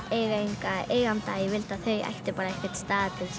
eiga engan eiganda ég vildi að þau ættu einhvern stað til þess að